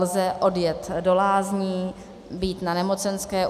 Lze odjet do lázní, být na nemocenské.